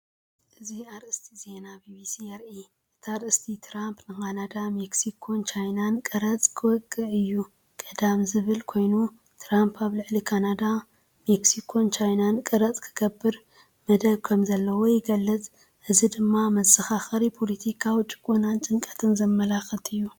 እዚ ኣርእስቲ ዜና ቢቢሲ የርኢ። እቲ ኣርእስቲ “ትራምፕ ንካናዳ፡ ሜክሲኮን ቻይናን ቀረጽ ክወቅዕ’ዩ ቀዳም” ዝብል ኮይኑ፡ ትራምፕ ኣብ ልዕሊ ካናዳ፡ ሜክሲኮን ቻይናን ቀረጽ ክገብር መደብ ከምዘለዎ ይገልጽ። እዚ ድማ መዘኻኸሪ ፖለቲካዊ ጭቆናን ጭንቀትን ዘመላክት እዩ።